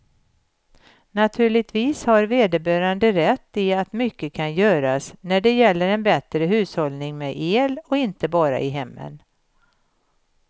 Naturligtvis har vederbörande rätt i att mycket kan göras när det gäller en bättre hushållning med el, och inte bara i hemmen.